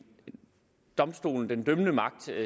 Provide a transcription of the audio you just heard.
domstol den dømmende magt